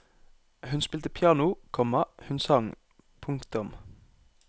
Hun spilte piano, komma hun sang. punktum